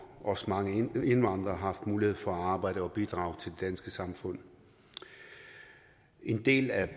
også mange indvandrere har haft mulighed for at arbejde og bidrage til danske samfund en del er